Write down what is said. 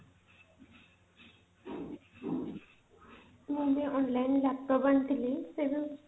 ମୁଁ ମଧ୍ୟ online laptop ଆଣିଥିଲି ସେ ଯୋଉ